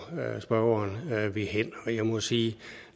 spørgeren vil hen og jeg må sige